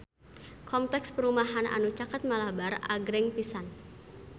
Kompleks perumahan anu caket Malabar agreng pisan